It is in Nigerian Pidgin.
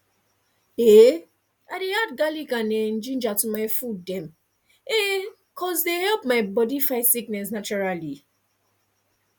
um i dey add garlic and um ginger to my food dem um cause dey help my body fight sickness naturally